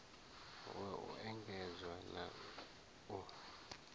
wa u endedza na u